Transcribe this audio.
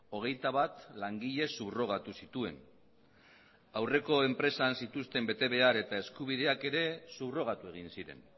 hogeitabat langile subrogatu zituen aurreko enpresan zituzten betebehar eta eskubideak ere subrogatu egin ziren